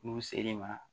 N'u sel'i ma